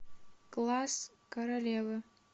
класс королевы